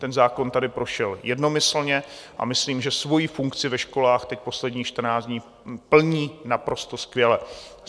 Ten zákon tady prošel jednomyslně a myslím, že svoji funkci ve školách teď posledních 14 dní plní naprosto skvěle.